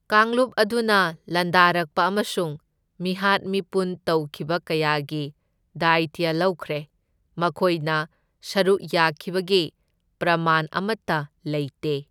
ꯀꯥꯡꯂꯨꯞ ꯑꯗꯨꯅ ꯂꯥꯟꯗꯥꯔꯛꯄ ꯑꯃꯁꯨꯡ ꯃꯤꯍꯥꯠ ꯃꯤꯄꯨꯟ ꯇꯧꯈꯤꯕ ꯀꯌꯥꯒꯤ ꯗꯥꯢꯇ꯭ꯌ ꯂꯧꯈ꯭ꯔꯦ, ꯃꯈꯣꯢꯅ ꯁꯔꯨꯛ ꯌꯥꯈꯤꯕꯒꯤ ꯄ꯭ꯔꯃꯥꯟ ꯑꯃꯠꯇ ꯂꯩꯇꯦ꯫